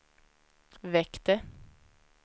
väckte